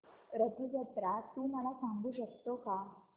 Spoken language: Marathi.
रथ जत्रा तू मला सांगू शकतो का